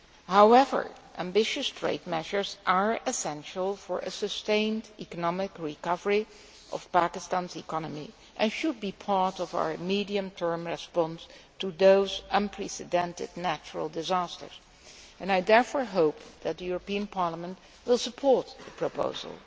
However, ambitious trade measures are essential for the sustained economic recovery of Pakistan's economy and should be part of our medium term response to those unprecedented natural disasters. I therefore hope that Parliament will support the proposal.